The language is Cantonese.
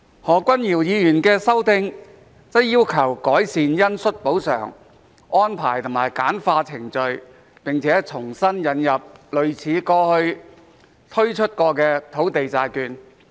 何君堯議員的修訂則要求改善恩恤補償安排和簡化程序，並重新引入類似過去推出的土地債券。